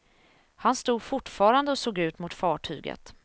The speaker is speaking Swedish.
Han stod fortfarande och såg ut mot fartyget.